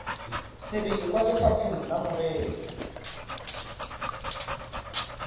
sebele kwa lefapheng la merero